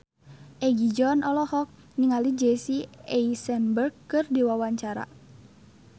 Egi John olohok ningali Jesse Eisenberg keur diwawancara